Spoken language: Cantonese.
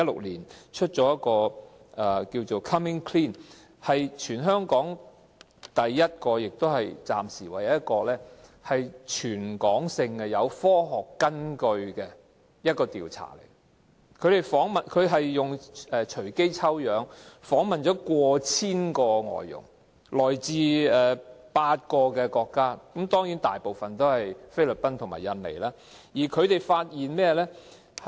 那是全港第一個，也是暫時唯一一個有科學根據的全港調查，用隨機抽樣方式訪問了 1,000 名來自8個國家的外傭，當中大部分來自菲律賓和印尼。